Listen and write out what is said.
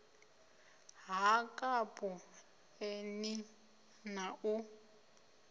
ha kapu eni na u